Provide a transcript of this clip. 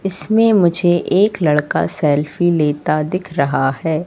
इसमें मुझे एक लड़का सेल्फी लेता दिख रहा है।